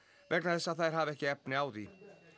vegna þess að þær hafi ekki efni á því